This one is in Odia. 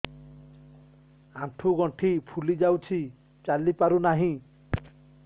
ଆଂଠୁ ଗଂଠି ଫୁଲି ଯାଉଛି ଚାଲି ପାରୁ ନାହିଁ